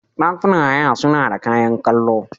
Ɗakunan haya sunada kayan kallo.